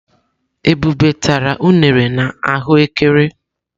Ebube tara unere na ahụ ékẹrè.